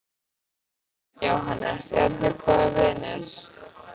Jóhannes: Eruð þið góðir vinir?